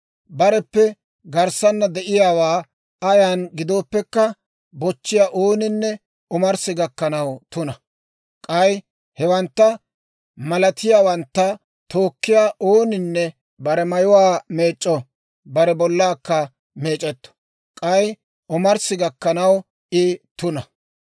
Bareppe garssana de'iyaawaa ayan gidooppekka bochchiyaa ooninne omarssi gakkanaw tuna; k'ay hewantta malatiyaawantta tookkiyaa ooninne bare mayuwaa meec'c'o; bare bollaakka meec'etto; k'ay omarssi gakkanaw I tuna.